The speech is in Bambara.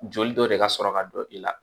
Joli dɔ de ka sɔrɔ ka don i la